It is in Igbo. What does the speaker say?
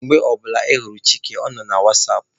Mgbe ọ bụla ị hụrụ Chike, ọ nọ na wasapụ.